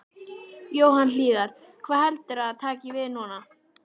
Jóhann Hlíðar: Hvað heldurðu að taki við núna?